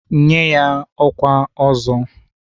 Nyenụ ya ọkwa Ọzọ!